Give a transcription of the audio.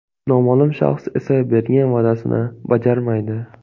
Noma’lum shaxs esa bergan va’dasini bajarmaydi.